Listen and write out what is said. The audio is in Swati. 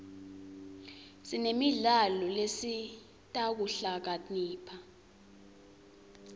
sinemidlalo lesita kuhlakanipha